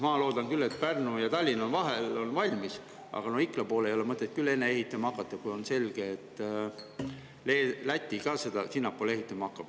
Ma loodan küll, et Pärnu ja Tallinna vahel saab see raudtee 2030. aastaks valmis, aga Ikla poole ei ole mõtet küll enne ehitama hakata, kui on selge, et Läti ka siiapoole ehitama hakkab.